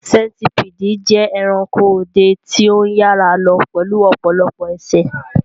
Sentipidi jẹ́ ẹranko ọdẹ tí ó ń yára lọ pẹ̀lú ọ̀pọ̀lọpọ̀ ẹsẹ̀.